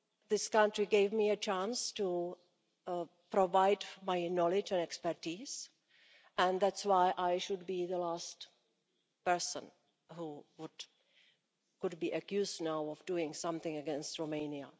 This country gave me a chance to provide my knowledge and expertise and that's why I should be the last person who could be accused now of doing something against Romania.